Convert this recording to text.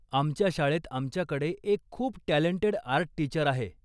आमच्या शाळेत आमच्याकडे एक खूप टॅलंटेड आर्ट टीचर आहे.